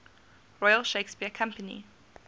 royal shakespeare company